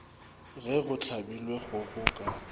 ge go hlabilwe kgogo ka